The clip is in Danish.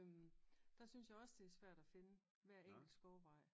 Der synes jeg også det er svært at finde hver enkelt skovvej